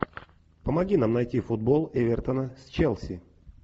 помоги нам найти футбол эвертона с челси